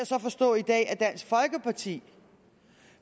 så forstå i dag at dansk folkeparti